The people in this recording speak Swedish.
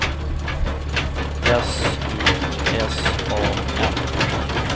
S U S A N